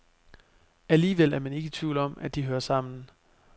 Alligevel er man ikke i tvivl om, at de hører sammen.